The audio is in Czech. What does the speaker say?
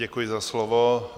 Děkuji za slovo.